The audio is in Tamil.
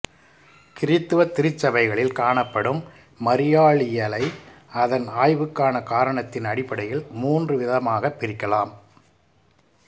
கிறிஸ்தவத் திருச்சபைகளில் காணப்படும் மரியாளியலை அதன் ஆய்வுக்கான காரணத்தின் அடிப்படையில் மூன்று விதமாகப் பிரிக்கலாம்